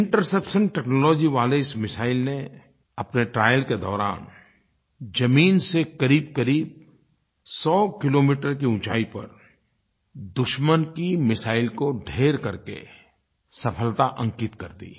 interception technology वाले इस missile ने अपने ट्रायल के दौरान ज़मीन से क़रीबक़रीब 100 किलोमीटर की ऊँचाई पर दुश्मन की मिसाइल को ढेर करके सफलता अंकित कर दी